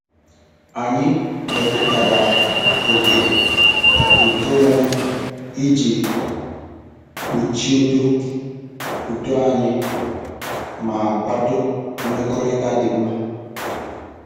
Anyị mepụtara oke nkeonwe iji kpuchido udo anyị ma kwado mmekọrịta dị mma.